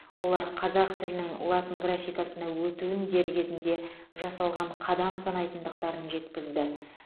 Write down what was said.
олар қазақ тілінің латын графикасына өтуін дер кезінде жасалған қадам санайтындықтарын жеткізді